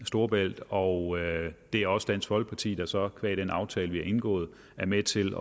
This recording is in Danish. storebælt og det er også dansk folkeparti der så qua den aftale vi har indgået er med til